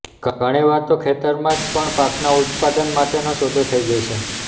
ઘણીવાર તો ખેતરમાં જ પણ પાકના ઉત્પાદન માટેનો સોદો થઇ જાય છે